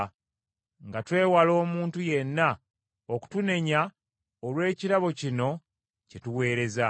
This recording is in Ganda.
nga twewala omuntu yenna okutunenya olw’ekirabo kino kye tuweereza.